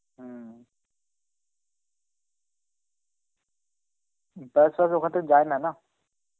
হম , তাছাড়া ওখান তো যায়না না.